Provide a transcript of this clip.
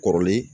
Kɔrɔlen